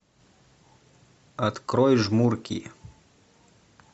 открой жмурки